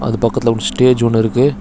இது பக்கத்துல one stage ஒன்னு இருக்கு.